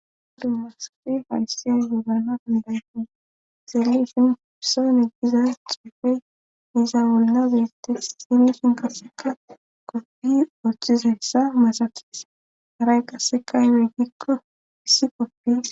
masafi falisia yuugana dandayfi xelifin hurson eggiza ciufe iza bolla beette xilifin qasseka koppi ooththizayssa masakis haray qassekayweyggikko issi koppi